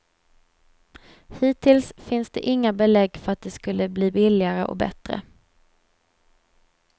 Hittills finns det inga belägg för att det skulle bli billigare och bättre.